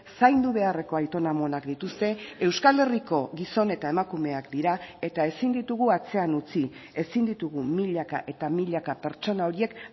zaindu beharreko aitona amonak dituzte euskal herriko gizon eta emakumeak dira eta ezin ditugu atzean utzi ezin ditugu milaka eta milaka pertsona horiek